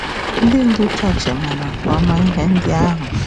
Ndị ndú chọọchị chọọchị maara nke ọma ihe ndị ahụ.